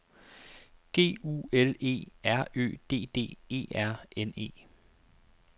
G U L E R Ø D D E R N E